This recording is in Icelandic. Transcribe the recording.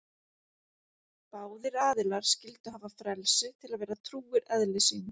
Báðir aðilar skyldu hafa frelsi til að vera trúir eðli sínu.